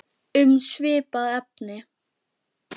Um svipað efni